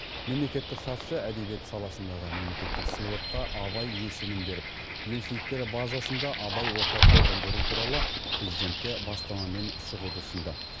мемлекеттік хатшы әдебиет саласындағы мемлекеттік сыйлыққа абай есімін беріп елшіліктер базасында абай орталықтарын құру туралы президентке бастамамен шығуды ұсынды